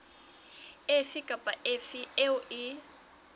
efe kapa efe eo e